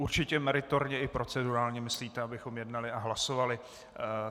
Určitě meritorně i procedurálně myslíte, abychom jednali a hlasovali.